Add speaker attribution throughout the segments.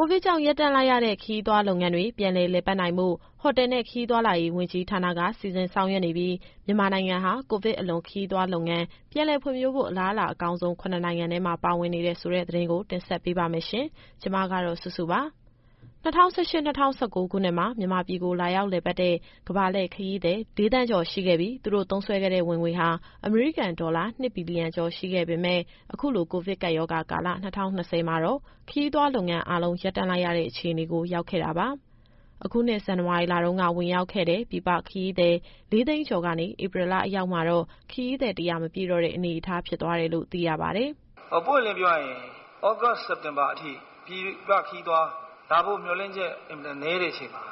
Speaker 1: ိုဗစ်ကြောင့် ရပ်တန့်လိုက်ရတဲ့ ခရီးသွားလုပ်ငန်းတွေ ပြန်လည်လည်ပတ်နိုင်ဖို့ ဟိုတယ်နဲ့ ခရီးသွားဝန်ကြီးဌာနက စီစဉ်ဆောင်ရွက်နေပြီး မြန်မာနိုင်ငံဟာ ကိုဗစ်အလွန် ခရီးသွားလုပ်ငန်း ပြန်လည်ဖွံ့ဖြိုးဖို့ အလားအလာအကောင်းဆုံး ၇ နိုင်ငံထဲမှာ ပါဝင်နေတယ်ဆိုတဲ့သတင်းကို ဗွီအိုအေမြန်မာပိုင်းသတင်းထောက် မစုစုက တင်ဆက်ပေးပါမယ်။ ၂၀၁၈-၂၀၁၉ ခုနှစ်မှာ မြန်မာပြည်ကို လာရောက်လည်ပတ်တဲ့ ကမ္ဘာလှည့်ခရီးသည် ၄,၀၀၀,၀၀၀ ကျော်ရှိခဲ့ပြီး သူတို့သုံးစွဲခဲ့တဲ့ ဝင်ငွေဟာ အမေရိကန်ဒေါ်လာ ၂ ဘီလီယံကျော်ရှိခဲ့ပေမဲ့ အခုကိုဗစ်ကပ်ရောဂါကာလ ၂၀၂၀ မှာတော့ ခရီးသွားလုပ်ငန်းအားလုံး ရပ်တန့်လိုက်ရတဲ့အခြေအနေကို ရောက်ခဲ့တာပါ။ အခုနှစ် ဇန်နဝါရီလတုန်းက ဝင်ရောက်ခဲ့တဲ့ ပြည်ပခရီးသည် ၄၀၀,၀၀၀ ကျော်ကနေ ဧပြီလအရောက်မှာတော့ ခရီးသည် ၁၀၀ မပြည့်တော့တဲ့အနေအထား ဖြစ်သွားတယ်လို့ သိရပါတယ်
Speaker 2: ။ “ပွင့်ပွင့်လင်းလင်းပြောရရင် သြဂုတ် - စက်တင်ဘာအထိ ပြည်ပခရီးသွား လာဖို့မျှော်လင့်ချက် အင်မတန်နည်းတဲ့အချိန်မှာ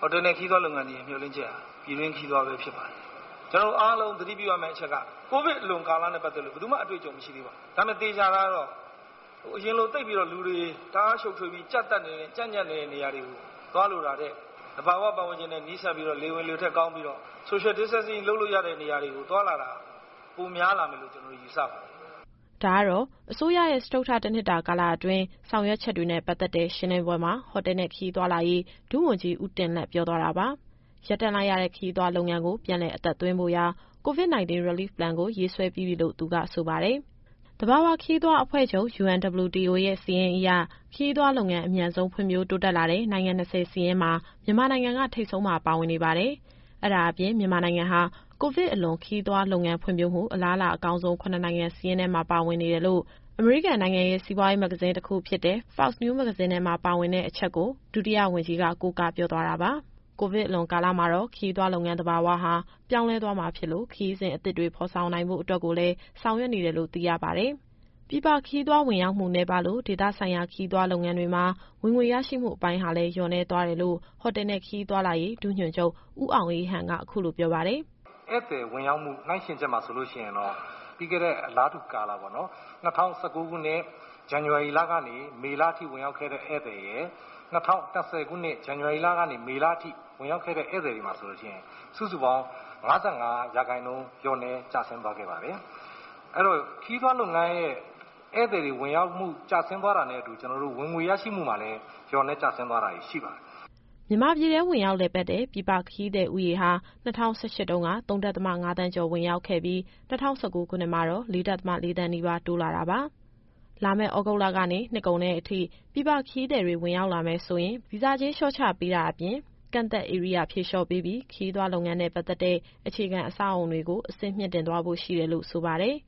Speaker 2: ဟိုတယ်နဲ့ ခရီးသွားလုပ်ငန်းတွေရဲ့ မျှော်လင့်ချက်ဟာ ပြည်တွင်း ခရီးသွားပဲဖြစ်ပါတယ်။ ကျနော်တို့ အားလုံးသတိပြုရမယ့်အချက်က ကိုဗစ်အလွန်ကာလနဲ့ ပတ်သက်လို့ ဘယ်သူမှ အတွေ့အကြုံမရှိသေးပါဘူး။ ဒါပေမဲ့ သေချာတာကတော့ အရင်လိုလူတွေ တအားရှုပ်ထွေးပြီး ကြပ်ညပ်နေတဲ့နေရာတွေကို သွားလိုတာထက် သဘာဝပတ်ဝန်းကျင်နဲ့ နီးစပ်ပြီးတော့ လေဝင်လေထွက်ကောင်းပြီးတော့ Social Distancing လုပ်လို့ရတဲ့နေရာတွေကို သွားလာတာ ပိုများလာမယ်လို့ ကျနော်တို့ယူဆပါတယ်။”
Speaker 1: ဒါကတော့ အစိုးရရဲ့ စတုတ္ထ တနှစ်တာကာလအတွင်း ဆောင်ရွက်ချက်တွေနဲ့ ပတ်သက်တဲ့ရှင်းလင်းပွဲမှာ ဟိုတယ်နဲ့ ခရီးသွားလာရေး ဒုဝန်ကြီး ဦးတင်လတ်ပြောသွားတာပါ။ ရပ်တန့်လိုက်ရတဲ့ ခရီးသွားလုပ်ငန်းကို ပြန်လည်အသက်သွင်းဖို့ရာ COVID- 19 Relief Plan ကို ရေးဆွဲပြီးပြီလို့ သူကဆိုပါတယ်။ သဘာဝခရီးသွားအဖွဲ့ချုပ် UNWTO (World Tourism Organization) ရဲ့ စာရင်းအရ ခရီးသွားလုပ်ငန်း အမြန်ဆုံး ဖွံ့ဖြိုးတိုးတက်လာတဲ့ နိုင်ငံ ၂၀ စာရင်းမှာ မြန်မာနိုင်ငံက ထိပ်ဆုံးမှာ ပါဝင်နေပါတယ်။ မြန်မာနိုင်ငံဟာ ကိုဗစ်အလွန် ခရီးသွားလုပ်ငန်းဖွံ့ဖြိုးမှု အလားအလာအကောင်းဆုံး ၇ နိုင်ငံစာရင်းထဲမှာ ပါဝင်နေတယ်လို့ အမေရိကန် Forbes မဂ္ဂဇင်းထဲက အချက်ကို ဒုဝန်ကြီးက ကိုးကားပြောသွားတာပါ။ ကိုဗစ်အလွန်ကာလမှာတော့ ခရီးသွားလုပ်ငန်းသဘာဝဟာ ပြောင်းလဲသွားမှာဖြစ်လို့ ခရီးစဉ်အသစ်တွေ ဖော်ထုတ်နိုင်ဖို့ကိုလည်း ဆောင်ရွက်နေတယ်လို့ သိရပါတယ်။ ပြည်ပခရီးသွား ဝင်ရောက်မှုနည်းပါးလို့ ဒေသဆိုင်ရာ ခရီးသွားလုပ်ငန်းတွေမှာ ဝင်ငွေရရှိမှုအပိုင်းဟာလည်း လျော့နည်းသွားတယ်လို့ ဟိုတယ်နဲ့ ခရီးသွားလာရေး ဒုညွှန်ချုပ် ဦးအောင်အေးဟန်က အခုလိုပြောပါတယ်။
Speaker 3: “ဧည့်သည်ဝင်ရောက်မှု နှိုင်းယှဉ်ချက်မှာ ပြီးခဲ့တဲ့ အလားတူကာလ ၂၀၁၉ခုနှစ် ဇန်နဝါရီကနေ မေလအထိဝင်ရောက်ခဲ့တဲ့ ဧည့်သည်ရယ်၊ ၂၀၂၀ ခုနှစ် ဇန်နဝါရီကနေ မေအထိဝင်ရောက်ခဲ့တဲ့ ဧည့်သည်တွေမှာ စုစုပေါင်း ၅၅ ရာခိုင်နှုန်း လျှော့နည်းကျဆင်းသွားခဲ့ပါတယ်။ အဲတော့ ခရီးသွားလုပ်ငန်းရဲ့ ဧည့်သည်ဝင်ရောက်မှု ကျဆင်းသွားတာနဲ့အတူ ဝင်ငွေရရှိမှုမှာလည်း လျော့နည်းကျဆင်းသွားတာတွေ ရှိပါတယ်။”
Speaker 1: မြန်မာပြည်တွင်း ဝင်ရောက်လည်ပတ်တဲ့ ပြည်ပခရီးသည်ဦးရေဟာ ၂၀၁၈ တုန်းက ၃.၅ သန်းကျော် ဝင်ရောက်ခဲ့ပြီး၊ ၂၀၁၉ခုနှစ်မှာ ၄.၄ သန်းနီးပါး တိုးလာတာပါ။ လာမယ့် သြဂုတ်လကနေ နှစ်ကုန်တဲ့အထိ ပြည်ပခရီးသည်တွေ ဝင်ရောက်လာမယ်ဆိုရင် ဗီဇာကြေး လျှော့ချပေးတာအပြင် ကန့်သတ်ဧရိယာဖြေလျော့ပေးပြီး ခရီးသွားလုပ်ငန်းနဲ့ပတ်သက်တဲ့ အခြေခံအဆောက်အအုံတွေကို အဆင့်မြှင့်တင်သွားဖို့ ရှိတယ်လို့ဆိုပါတယ်။